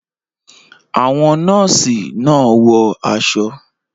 Àwọn Nọ́ọ̀sì náà wọ aṣọ